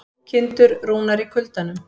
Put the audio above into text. Kindur rúnar í kuldanum